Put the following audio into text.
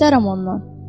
İstərəm ondan.